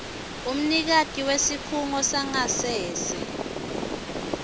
umnikati wesikhungo sangasese